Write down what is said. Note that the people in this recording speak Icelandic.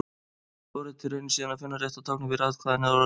Forritið reynir síðan að finna rétta táknið fyrir atkvæðið eða orðið.